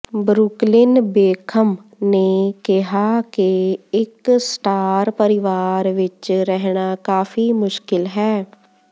Brooklyn Beckham ਨੇ ਕਿਹਾ ਕਿ ਇਕ ਸਟਾਰ ਪਰਵਾਰ ਵਿਚ ਰਹਿਣਾ ਕਾਫੀ ਮੁਸ਼ਕਿਲ ਹੈ